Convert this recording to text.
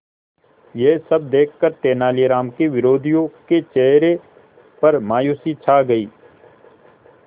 यह सब देखकर तेनालीराम के विरोधियों के चेहरे पर मायूसी छा गई